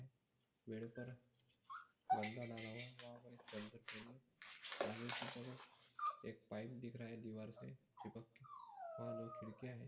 Bed पर गद्दा डाला हुआ है वहा पर एक चद्दर पडी है आगे की तरफ एक पाइप दिख रहा है दीवारसे चिपक के वहा दो खिडकिया है।